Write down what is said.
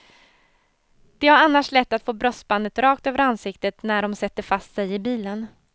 De har annars lätt att få bröstbandet rakt över ansiktet när de sätter fast sig i bilen.